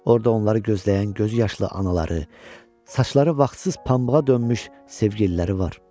Orda onları gözləyən gözüyaşlı anaları, saçları vaxtsız pambığa dönmüş sevgililəri var.